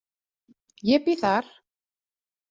Ég bý þar.